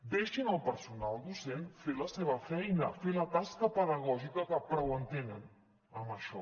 deixin al personal docent fer la seva feina fer la tasca pedagògica que prou en tenen amb això